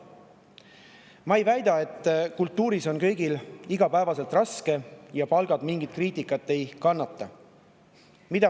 Ma ei väida, et kultuuris on kõigil igapäevaselt raske ja palgad mingit kriitikat ei kannata.